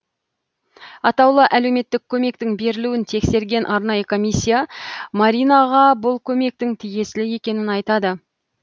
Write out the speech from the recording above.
атаулы әлеуметтік көмектің берілуін тексерген арнайы комиссия маринаға бұл көмектің тиесілі екенін айтады